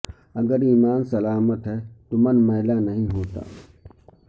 اگر ایماں سلامت ہے تو من میلا نہیں ہوتا